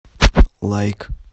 лайк